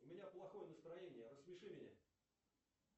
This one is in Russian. у меня плохое настроение рассмеши меня